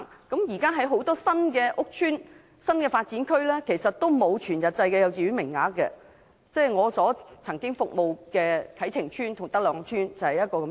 現時很多新屋邨和新發展區也沒有全日制幼稚園名額，我曾經服務的啟晴邨及德朗邨就是例子。